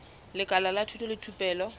lekala la thuto le thupelo